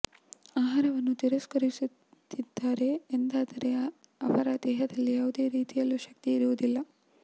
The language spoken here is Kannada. ಆಹಾರವನ್ನು ತಿರಸ್ಕರಿಸುತ್ತಿದ್ದಾರೆ ಎಂದಾದರೆ ಅವರ ದೇಹದಲ್ಲಿ ಯಾವುದೇ ರೀತಿಯಲ್ಲೂ ಶಕ್ತಿ ಇರುವುದಿಲ್ಲ